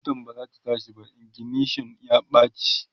motan bazata tashi ba, ignition ya ɓace